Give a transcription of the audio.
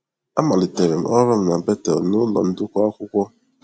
Amalitere m ọrụ m na Bethel n’ụlọ ụdụkọ akwụkwọ.